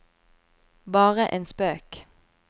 bare en spøk